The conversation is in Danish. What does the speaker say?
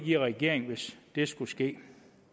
i regering hvis det skulle ske